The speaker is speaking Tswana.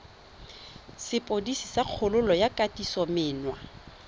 sepodisi sa kgololo ya kgatisomenwa